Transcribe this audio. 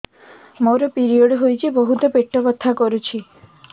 ମୋର ପିରିଅଡ଼ ହୋଇଛି ବହୁତ ପେଟ ବଥା କରୁଛି